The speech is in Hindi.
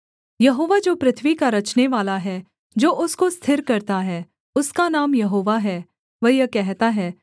यहोवा जो पृथ्वी का रचनेवाला है जो उसको स्थिर करता है उसका नाम यहोवा है वह यह कहता है